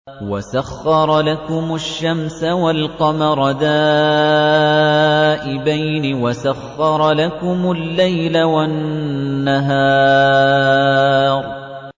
وَسَخَّرَ لَكُمُ الشَّمْسَ وَالْقَمَرَ دَائِبَيْنِ ۖ وَسَخَّرَ لَكُمُ اللَّيْلَ وَالنَّهَارَ